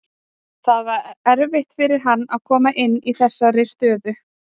Það var erfitt fyrir hann að koma inn í þessari stöðu.